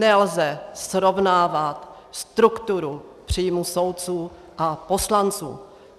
Nelze srovnávat strukturu příjmů soudců a poslanců.